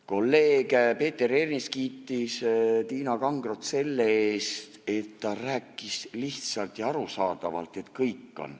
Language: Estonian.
Kolleeg Peeter Ernits kiitis Tiina Kangrot selle eest, et ta rääkis lihtsalt ja arusaadavalt.